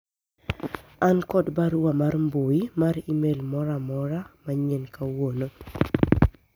an kod barua mar mbui mar email moro amora manyien kawuono